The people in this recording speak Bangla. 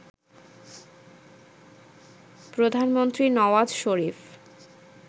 প্রধানমন্ত্রী নওয়াজ শরিফ